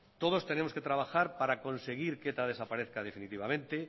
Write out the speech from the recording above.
todos tenemos que trabajar para conseguir que eta desaparezca definitivamente